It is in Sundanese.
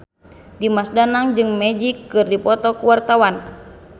Dimas Danang jeung Magic keur dipoto ku wartawan